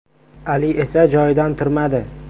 Ali esa joyidan turmadi.